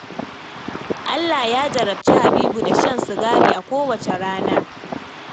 Allah ya jarabci Habibu da shan sigari a kowacce rana